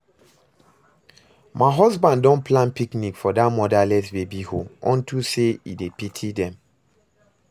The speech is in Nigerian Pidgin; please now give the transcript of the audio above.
My husband don plan picnic for dat motherless baby home unto say e dey pity dem